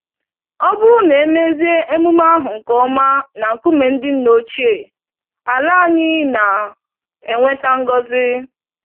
Ọbụrụ na emezie emume ahụ nke ọma na nkume ndị ńnà ochie, àlà anyị na enweta ngọzi